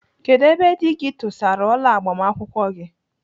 Kedụ ebe dị gị tụsara ọla agbamakwụkwọ gị?